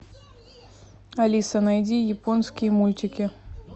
алиса найди японские мультики